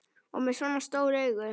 Og með svona stór augu.